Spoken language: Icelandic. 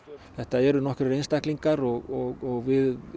þetta eru nokkrir einstaklingar og við